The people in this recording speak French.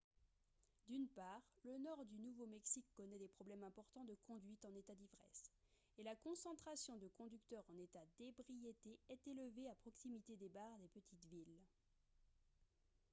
d'une part le nord du nouveau-mexique connaît des problèmes importants de conduite en état d'ivresse et la concentration de conducteurs en état d'ébriété est élevée à proximité des bars des petites villes